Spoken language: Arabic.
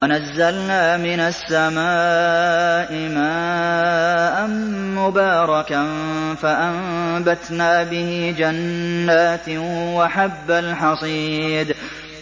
وَنَزَّلْنَا مِنَ السَّمَاءِ مَاءً مُّبَارَكًا فَأَنبَتْنَا بِهِ جَنَّاتٍ وَحَبَّ الْحَصِيدِ